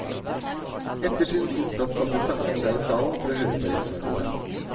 Etter sin innsats satte sangeren seg i salen for å høre på resten av konserten.